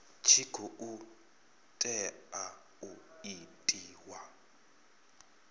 tshi khou tea u itiwa